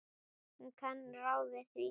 Hún kann ráð við því.